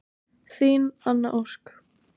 Þín Anna Ósk.